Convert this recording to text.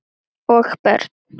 Og börn.